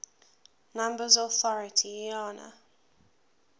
numbers authority iana